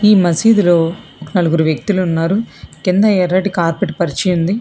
ఈ మసీదులో నలుగురు వ్యక్తులు ఉన్నారు కింద ఎర్రటి కార్పెట్ పరిచి ఉంది.